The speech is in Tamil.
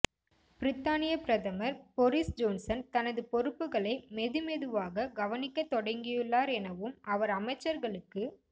பிரித்தானியப் பிரதமர் பொறிஸ் ஜோன்சன் தனது பொறுப்புக்களை மெது மெதுவாக கவனிக்கத் தொடங்கியுள்ளார் எனவும் அவர் அமைச்சர்களுக்கு